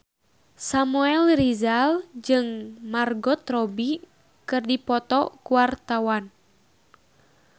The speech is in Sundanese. Samuel Rizal jeung Margot Robbie keur dipoto ku wartawan